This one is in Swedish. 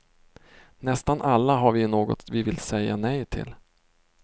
Nästan alla har vi ju något vi vill säga nej till.